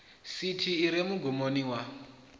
sithi i re mugumoni wa